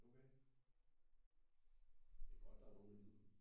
Okay det er godt der er nogen der gider